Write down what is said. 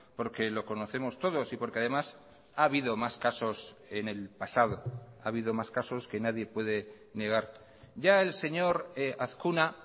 porque lo conocemos todos y porque además ha habido más casos en el pasado ha habido más casos que nadie puede negar ya el señor azkuna